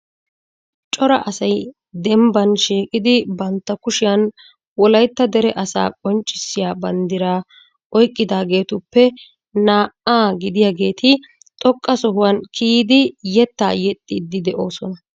Cora asay dembban shiiqida bantta kushiyan wolaytta dere asaa qonccissiyaa banddira oyqqidaageetuppe naa"a gidiyaageeti xoqqa sohuwaa kiyyidi yettaa yexxidi de'oosona.